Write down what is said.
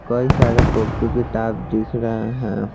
कई सारे कॉपी किताब दिख रहे हैं।